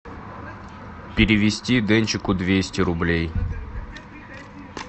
перевести денчику двести рублей